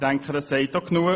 Ich denke, das sagt genug.